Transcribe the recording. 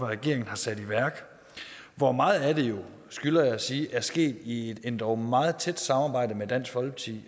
regeringen har sat i værk hvor meget af det skylder jeg at sige er sket i et endog meget tæt samarbejde med dansk folkeparti